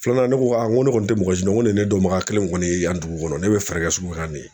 Filanan ne ko aa n ko ne kɔni tɛ mɔgɔ si ɲini ko ne dɔnbaga kelen kɔni ye yan dugu kɔnɔ ne bɛ fɛɛrɛ kɛ nin ye